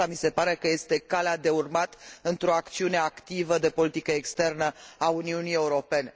Aceasta mi se pare că este calea de urmat într o acțiune activă de politică externă a Uniunii Europene.